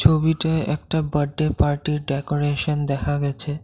ছবিতে একটা বার্থডে পার্টির ডেকোরেশন দেখা গেছে।